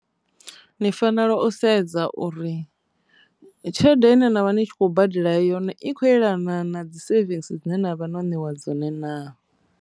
Ni fanela u sedza uri tshelede ine na vha ni kho badela yone i khou yelana na dzi sevisi dzine navha no neiwa dzone na.